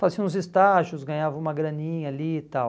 Fazia uns estágios, ganhava uma graninha ali e tal.